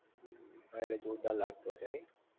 એટલે જોરદાર લાગતો હશે નહિ?